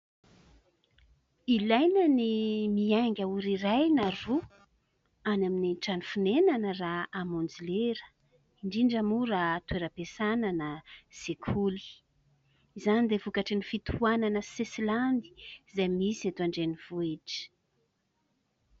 Ilaina ny mianga ora iray na roa any amin'ny trano fonenana raha hamonjy lera indrindra moa raha toeram-piasana na sekoly. Izany dia vokatry ny fitohanana sesilany izay misy eto an-drenivohitra.